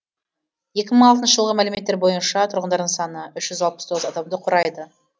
екі мың алтыншы жылғы мәліметтер бойынша тұрғындарының саны үш жүз алпыс тоғыз адамды құрайды